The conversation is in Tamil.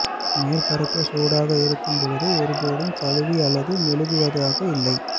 மேற்பரப்பு சூடாக இருக்கும் போது ஒருபோதும் கழுவி அல்லது மெழுகுவதாக இல்லை